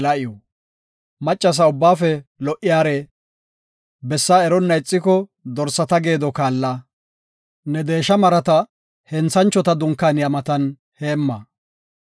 Maccasa ubbaafe lo77iyare, Bessaa eronna ixiko dorsata geedo kaalla. Ne deesha marata henthanchota dunkaaniya matan heemma.